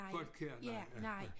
Folkjær nej ja ja